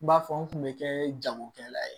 N b'a fɔ n kun bɛ kɛ jagokɛla ye